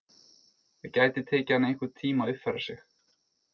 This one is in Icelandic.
Það gæti tekið hana einhvern tíma að uppfæra sig.